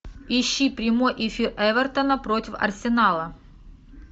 ищи прямой эфир эвертона против арсенала